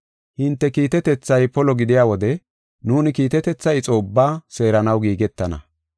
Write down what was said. Hinte kiitetethay polo gidiya wode nuuni kiitetetha ixo ubbaa seeranaw giigetana.